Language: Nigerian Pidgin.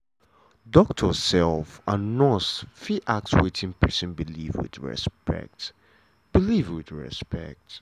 doctor um and nurse fit ask wetin pesin believe with respect. believe with respect.